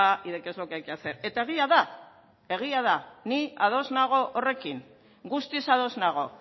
y de qué es lo que hay que hacer eta egia da egia da ni ados nago horrekin guztiz ados nago